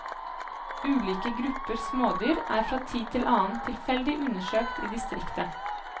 Ulike grupper smådyr er fra tid til annen tilfeldig undersøkt i distriktet.